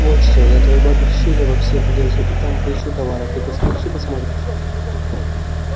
вот что я твоей бабе в щели во все влезу и там поищу товар а ты постоишь и посмотришь